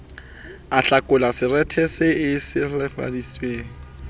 ahlakola seretse se e silafaditseng